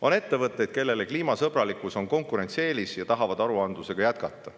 On ettevõtteid, kellele kliimasõbralikkus on konkurentsieelis ja kes tahavad aruandlust jätkata.